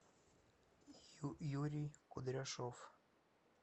юрий кудряшов